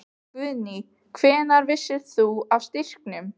Guðný: Hvenær vissir þú af styrkjunum?